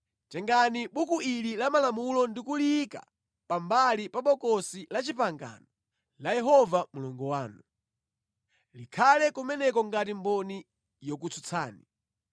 “Tengani Buku ili la Malamulo ndi kuliyika pambali pa Bokosi la Chipangano la Yehova Mulungu wanu. Likhale kumeneko ngati mboni yokutsutsani.